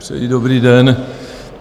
Přeji dobrý den.